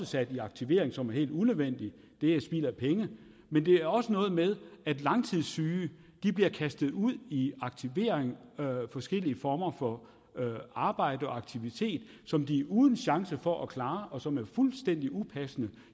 sat i aktivering som er helt unødvendig det er spild af penge men det er også noget med at langtidssyge bliver kastet ud i aktivering i forskellige former for arbejde eller aktivitet som de er uden chance for at kunne klare og som er fuldstændig upassende